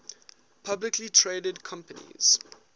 publicly traded companies